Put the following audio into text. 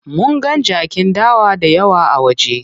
Munga jakin dawa dayawa a waje.